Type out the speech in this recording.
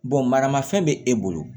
maramafɛn bɛ e bolo